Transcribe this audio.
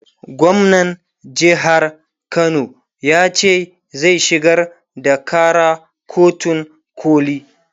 gwamnan jehar Kano yace zai shigar da Kara kotun koli